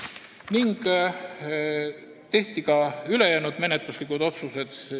4. juuni koosolekul tehti ka ülejäänud menetluslikud otsused.